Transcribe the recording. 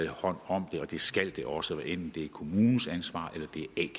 hånd om det og det skal der også hvad enten det er kommunens ansvar eller det er